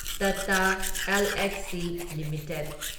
Tata Elxsi limited